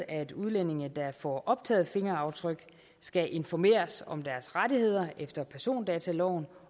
at udlændinge der får optaget fingeraftryk skal informeres om deres rettigheder efter persondataloven